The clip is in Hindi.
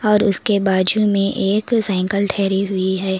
और उसके बाजू में एक साइकल ठहरी हुई है।